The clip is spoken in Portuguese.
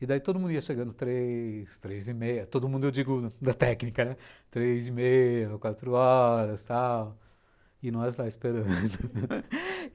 E daí todo mundo ia chegando três, três e meia, todo mundo eu digo da técnica, três e meia, quatro horas e tal, e nós lá esperando.